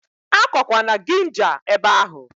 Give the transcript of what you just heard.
Akọkwana ginja ebe ahụ!